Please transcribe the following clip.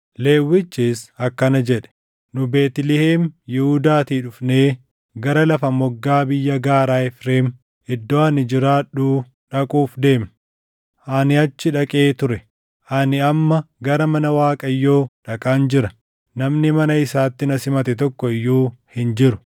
Lewwichis akkana jedhe; “Nu Beetlihem Yihuudaatii dhufnee gara lafa moggaa biyya gaaraa Efreem iddoo ani jiraadhuu dhaquuf deemna. Ani achi dhaqee ture. Ani amma gara mana Waaqayyoo dhaqaan jira. Namni mana isaatti na simate tokko iyyuu hin jiru.